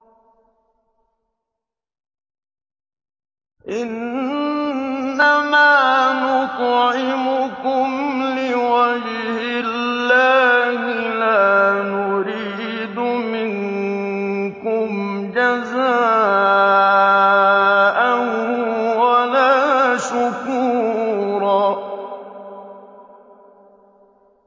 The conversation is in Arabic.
إِنَّمَا نُطْعِمُكُمْ لِوَجْهِ اللَّهِ لَا نُرِيدُ مِنكُمْ جَزَاءً وَلَا شُكُورًا